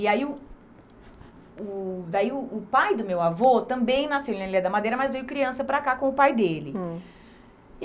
E aí o o daí o o pai do meu avô também nasceu na Ilha da Madeira, mas veio criança para cá com o pai dele. Hum.